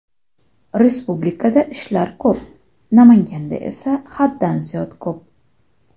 Respublikada ishlar ko‘p, Namanganda esa haddan ziyod ko‘p.